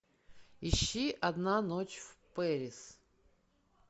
ищи одна ночь в пэрис